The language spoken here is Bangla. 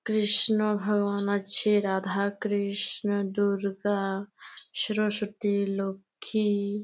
কৃষ্ণ ভগবান আছে রাধা কৃষ্ণ দূর্গা সরস্বতী লক্ষী--